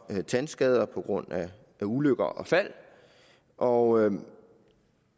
tandskader på grund af ulykker og fald og